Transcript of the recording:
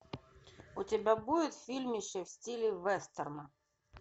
у тебя будет фильмище в стиле вестерна